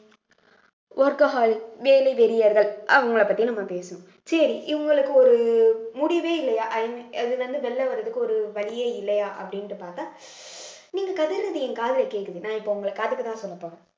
workaholics வேலை வெறியர்கள் அவங்கள பத்தி நம்ம பேசணும் சரி இவங்களுக்கு ஒரு முடிவே இல்லையா இதுல இருந்து வெளியில வர்றதுக்கு ஒரு வழியே இல்லையா அப்படின்னுட்டு பார்த்தா நீங்க கதறது என் காதுல கேக்குது நான் இப்ப உங்களுக்கு அதுக்கு தான் சொல்லப்போறேன்